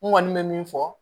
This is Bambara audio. N kɔni bɛ min fɔ